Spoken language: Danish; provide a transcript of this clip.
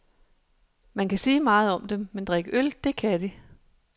Man kan sige meget om dem, men drikke øl, det kan de.